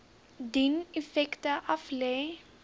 dien effekte aflê